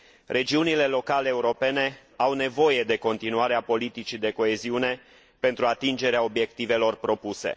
Regiunile locale europene au nevoie de continuarea politicii de coeziune pentru atingerea obiectivelor propuse.